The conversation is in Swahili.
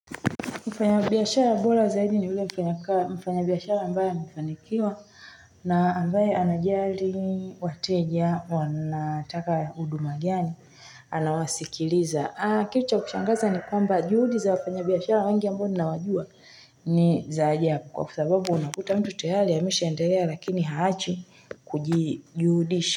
Mfanyabiashara bola zaidi ni ule mfanyabiashara ambaye amefanikiwa na ambaye anajali wateja wanataka huduma gani anawasikiliza aa kitu cha kushangaza ni kwamba juhudi za wafanyabiashara wengi ambao tunawajua niza ajabu kwa sababu unakuta mtoto hali ya imeshaendelea lakini haachi kujijuhudishi.